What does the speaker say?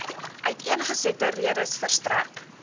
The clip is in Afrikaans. uiteengesette redes verstrek